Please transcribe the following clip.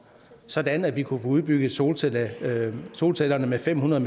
sådan at vi kunne få udbygget solcellerne med solcellerne med fem hundrede